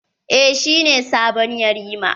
Eh, shi ne sabon yarima.